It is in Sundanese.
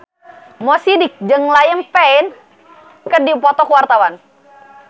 Mo Sidik jeung Liam Payne keur dipoto ku wartawan